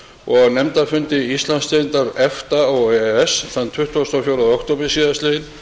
og á nefndarfundi íslandsdeildar þingmannanefnda efta og e e s þann tuttugasta og fjórða október síðastliðinn